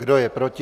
Kdo je proti?